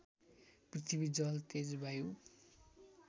पृथ्वी जल तेज वायु